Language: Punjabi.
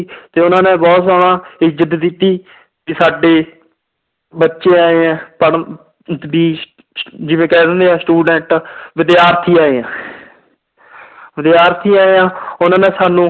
ਤੇ ਉਹਨਾਂ ਨੇ ਬਹੁਤ ਜ਼ਿਆਦਾ ਇੱਜ਼ਤ ਦਿੱਤੀ ਕਿ ਸਾਡੇ ਬੱਚੇ ਆਏ ਹੈ ਜਿਵੇਂ ਕਹਿ ਦਿੰਦੇ ਹੈ student ਵਿਦਿਆਰਥੀ ਆਏ ਹੈ ਵਿਦਿਆਰਥੀ ਆਏ ਆ ਉਹਨਾਂ ਨੇ ਸਾਨੂੰ